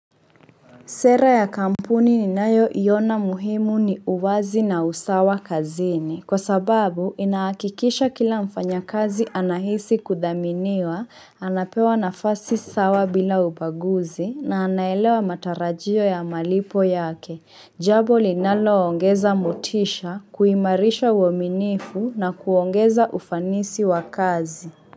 Sera ya kampuni ninayoiona muhimu ni uwazi na usawa kazini. Kwa sababu, inahakikisha kila mfanyakazi anahisi kudhaminiwa, anapewa nafasi sawa bila ubaguzi na anaelewa matarajio ya malipo yake. Jambo linaloongeza motisha, kuimarisha uaminifu na kuongeza ufanisi wa kazi.